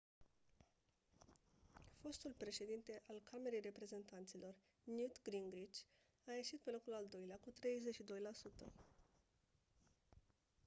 fostul președinte al camerei reprezentanților newt gingrich a ieșit pe locul al doilea cu 32 la sută